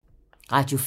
Radio 4